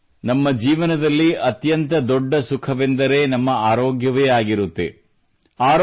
ನೋಡಿ ನಮ್ಮ ಜೀವನದಲ್ಲಿ ಅತ್ಯಂತ ದೊಡ್ಡ ಸುಖವೆಂದರೆ ನಮ್ಮ ಆರೋಗ್ಯವೇ ಆಗಿರುತ್ತದೆ